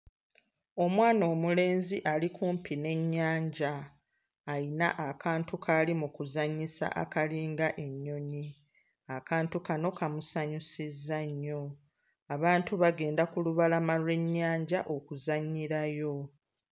Omwana omulenzi ali kumpi n'ennyanja, ayina akantu k'ali mu kuzannyisa akalinga ennyonyi. Akantu kano kamusanyusizza nnyo, abantu bagenda ku lubalama lw'ennyanja okuzannyirayo.